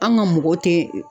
An ka mɔgɔw tɛ